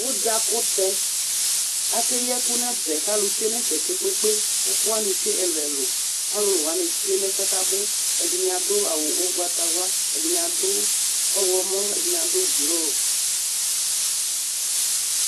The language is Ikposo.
Udza kʋtɛakeyi ɛkʋ n'ɛfɛ k'alʋ tsue n'ɛfɛ kpekpekpe, k'ɛkʋ wani tsue ɛlʋ ɛlʋ, alʋlʋ wani tsue n'ɛfu yɛ k'abʋ, ɛdini adʋ awʋ ʋgbatawla, ɛdini adʋ ɔɣlɔmɔ, ɛdini adʋ blʋ